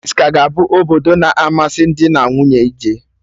Paris ka ga-abụ obodo na amasị dị na nwunye ije